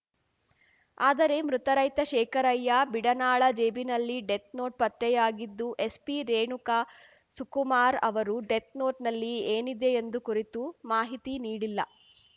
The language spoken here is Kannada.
ಆದರೆ ಮೃತ ರೈತ ಶೇಖರಯ್ಯ ಬೀಡನಾಳ ಜೇಬಿನಲ್ಲಿ ಡೆತ್‌ನೋಟ್‌ ಪತ್ತೆಯಾಗಿದ್ದು ಎಸ್ಪಿ ರೇಣುಕ ಸುಕುಮಾರ್ ಅವರು ಡೆತ್‌ನೋಟ್‌ನಲ್ಲಿ ಏನಿದೆ ಎಂಬ ಕುರಿತು ಮಾಹಿತಿ ನೀಡಿಲ್ಲ